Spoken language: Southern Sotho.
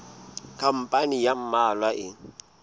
khampani ya ba mmalwa e